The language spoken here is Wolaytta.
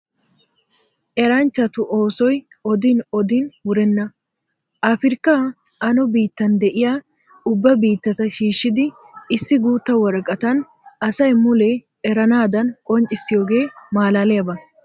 Eranchchattu oosoy odin odin wurenna! Afirkka ano biittan de'iya ubba biittata shiishshiddi issi guutta woraqattan asaa mule eranaadan qonccissiyooge malaaliyaba.